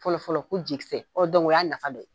Fɔlɔfɔlɔ ko jigisɛ ɔ la y'a nafa dɔ ye.